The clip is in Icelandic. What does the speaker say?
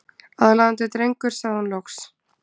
Aðlaðandi drengur sagði hún loks.